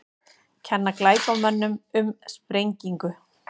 Kenna glæpamönnum um sprengingu